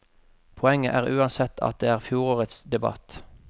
Poenget er uansett at det er fjorårets debatt.